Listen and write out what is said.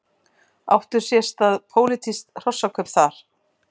Áttu sér stað pólitísk hrossakaup þar?